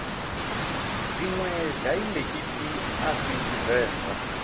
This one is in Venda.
dziṅwe daiḽekithi a si tshivenḓa